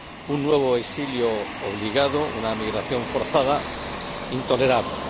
un nuevo exilio obligado, una emigración forzada intolerable.